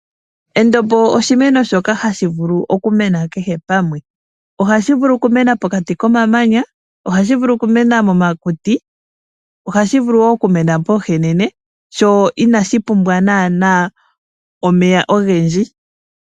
Endombo oshimeno shoka hashi vulu okumena kehe pamwe. Ohashi vulu okumena pokati komamanya, momakuti noshowo poohenene. Inashi pumbwa nana omeya ogendji.